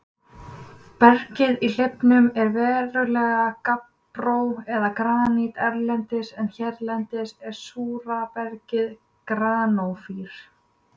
Bergið í hleifunum er venjulega gabbró eða granít erlendis en hérlendis er súra bergið granófýr.